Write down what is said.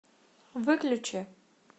выключи